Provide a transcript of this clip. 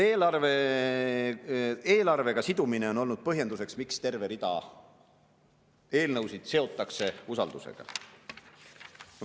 Eelarvega sidumine on olnud põhjenduseks, miks terve rida eelnõusid seotakse usaldus.